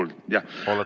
On mind kuulda?